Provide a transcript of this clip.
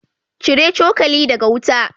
Cire cokali daga wuta